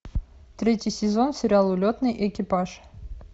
третий сезон сериал улетный экипаж